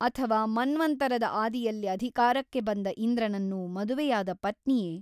ಅಥವಾ ಮನ್ವಂತರದ ಆದಿಯಲ್ಲಿ ಅಧಿಕಾರಕ್ಕೆ ಬಂದ ಇಂದ್ರನನ್ನು ಮದುವೆಯಾದ ಪತ್ನಿಯೇ?